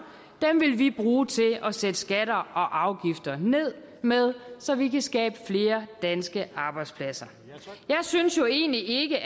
vil vi bruge til at sætte skatter og afgifter ned så vi kan skabe flere danske arbejdspladser jeg synes jo egentlig ikke